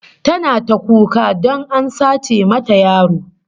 Tana ta kuka don a sace mata yaro